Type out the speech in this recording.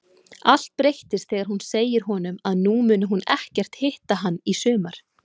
Allt breytist þegar hún segir honum að nú muni hún ekkert hitta hann í sumar.